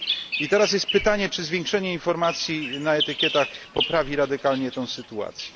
I teraz jest pytanie czy zwiększenie informacji na etykietach poprawi radykalnie tę sytuację?